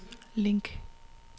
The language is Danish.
link